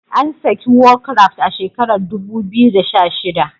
An saki war craft a shekarar dubu biyu da sha shida